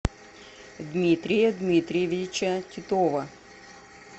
дмитрия дмитриевича титова